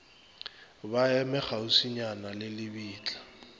ba eme kgauswinyana le lebitla